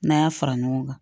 N'an y'a fara ɲɔgɔn kan